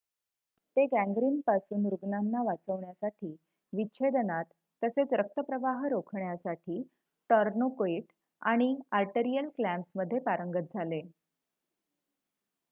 ते गॅंग्रिनपासून रुग्णांना वाचवण्यासाठी विच्छेदनात तसेच रक्त प्रवाह रोखण्यासाठी टोरनोइकेट आणि आर्टीरीअल क्लॅम्प्समध्ये पारंगत झाले